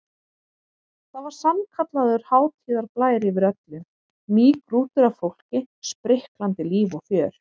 Það var sannkallaður hátíðarblær yfir öllu, mýgrútur af fólki, spriklandi líf og fjör.